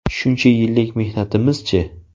Shuncha yillik mehnatimiz-chi?